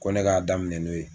Ko ne k'a daminɛ n'o ye.